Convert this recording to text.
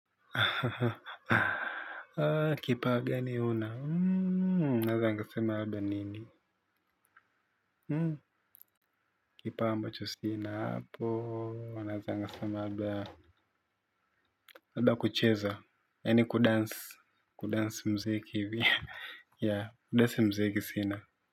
Kipawa gani una, naweza nikasema labda nini. Kipa ambacho sina hapo, naweza nikasema labda kucheza, yaani kudance kudance muziki hivi. Yaa, kudance mziki sina.